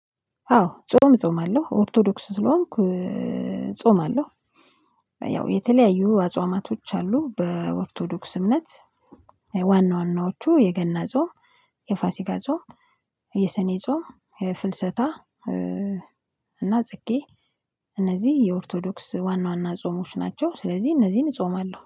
አዎ ጾም እጾማለሁ ኦርቶዶክስ ስለሆንኩ ጾማለው። ያው የተለያዩ አጽዋማቶች አሉ በኦርቶዶክስ እምነት። ዋና ዋናዎቹ የገና ጾም የፋሲጋ ጾም የሰኔ ጾም ፍልሰታ። እና ጽጌ እነዚህ የኦርቶዶክስ ዋና ዋና ጾሞች ናቸው። ስለዚህ እነዚህን እጾማለሁ